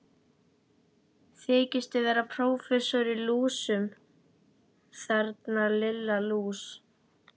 Þykistu vera prófessor í lúsum, þarna Lilla lús!